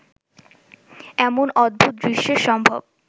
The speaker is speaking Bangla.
এমন অদ্ভুত দৃশ্যের সম্ভব